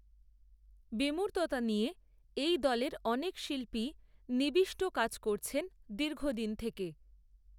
বিমূর্ততা নিয়ে এই দলের অনেক শিল্পীই নিবিষ্ট কাজ করছেন দীর্ঘ দিন থেকে